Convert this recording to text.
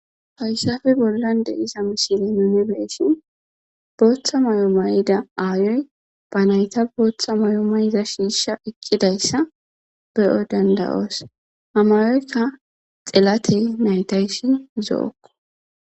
fayssafe bollan de iza misile munebeesshin booththa may7o mayida aayoy ba nayta booththa mayo mayida shiisha eqqidayssa be7o dandayoos hamayoyka xelate naytayssi zo7okko